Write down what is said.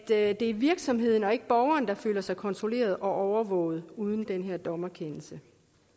er at det er virksomheden og ikke borgeren der føler sig kontrolleret og overvåget uden den her dommerkendelse